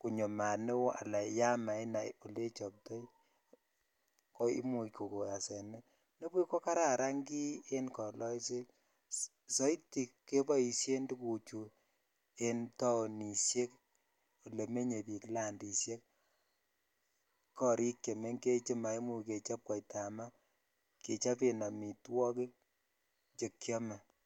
konyo mat ne oo ala ya mainai ole ichoptoi ko imuch kokon asenet, ndabuch ko kararan kiy en kololset, saiti keboisien tukuchu en taonisiek ole menye piik landisiek, korik chemengech che maimuch kechop koitab ma, kechoben amitwogik che kiome.